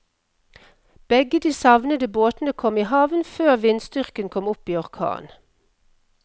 Begge de savnede båtene kom i havn før vindstyrken kom opp i orkan.